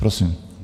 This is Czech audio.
Prosím.